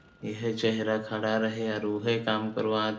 इहे चेहरा खड़ा रहेल और उहे काम करवात --